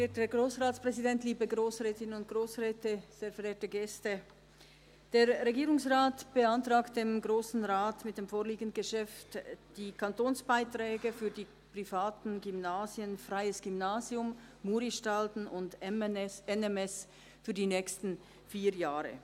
Der Regierungsrat beantragt dem Grossen Rat mit dem vorliegenden Geschäft die Kantonsbeiträge für die privaten Gymnasien «Freies Gymnasium Bern», «Muristalden» und «NMS» für die nächsten vier Jahren.